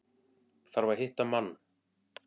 Þarf að hitta mann.